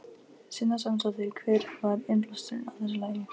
Sunna Sæmundsdóttir: Hver var innblásturinn að þessu lagi?